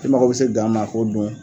I mako bɛ se gan ma k'o don